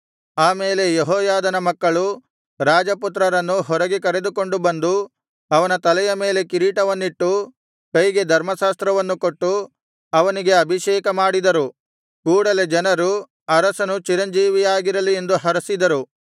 ಆಮೇಲೆ ಯೆಹೋಯಾದನ ಮಕ್ಕಳು ರಾಜಪುತ್ರನನ್ನು ಹೊರಗೆ ಕರೆದುಕೊಂಡು ಬಂದು ಅವನ ತಲೆಯ ಮೇಲೆ ಕಿರೀಟವನ್ನಿಟ್ಟು ಕೈಗೆ ಧರ್ಮಶಾಸ್ತ್ರವನ್ನು ಕೊಟ್ಟು ಅವನಿಗೆ ಅಭಿಷೇಕ ಮಾಡಿದರು ಕೂಡಲೆ ಜನರು ಅರಸನು ಚಿರಂಜೀವಿಯಾಗಿರಲಿ ಎಂದು ಹರಸಿದರು